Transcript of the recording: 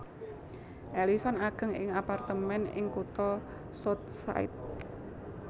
Ellison ageng ing apartemén ing kutha South Side